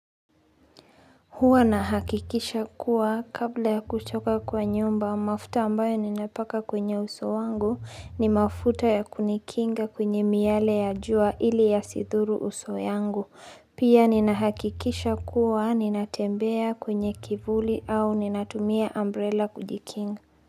Huwa nahakikisha kuwa kabla ya kutoka kwa nyumba mafuta ambayo ninapaka kwenye uso wangu ni mafuta ya kunikinga kwenye miale ya jua ili yasidhuru uso wangu. Pia ninahakikisha kuwa ninatembea kwenye kivuli au ninatumia umbrella kujikinga.